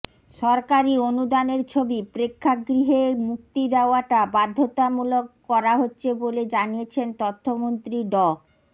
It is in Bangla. সরকারি অনুদানের ছবি প্রেক্ষাগৃহে মুক্তি দেওয়াটা বাধ্যতামূলক করা হচ্ছে বলে জানিয়েছেন তথ্যমন্ত্রী ড